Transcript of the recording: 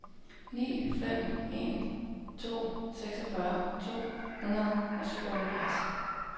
ni fem en to seksogfyrre to hundrede og syvoghalvfjerds